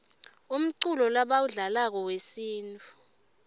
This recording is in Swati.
umculo lebawudlalako wesintfu